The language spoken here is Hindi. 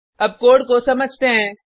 अब कोड को समझते हैं